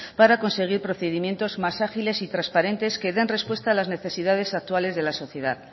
para conseguir procedimientos más ágiles y transparentes que den respuesta a las necesidades actuales de la sociedad